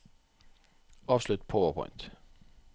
avslutt PowerPoint